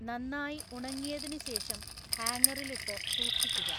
നന്നായി ഉണങ്ങിയതിനുശേഷം ഹാങ്ങറിലിട്ടു സൂക്ഷിക്കുക.